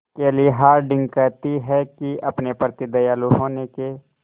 केली हॉर्डिंग कहती हैं कि अपने प्रति दयालु होने के